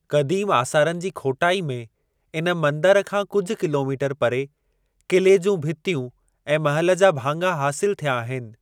क़दीम आसारनि जी खोटाई में इन मंदर खां कुझि किलोमीटर परे क़िले जूं भितियूं ऐं महल जा भाङा हासिल थिया आहिनि।